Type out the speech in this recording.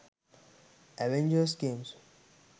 avengers games